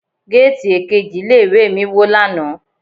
Géètì èkejì ilé ìwé mi wó lánàá.